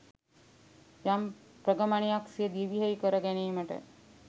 යම් ප්‍රගමනයක් සිය දිවියෙහි කර ගැනීමට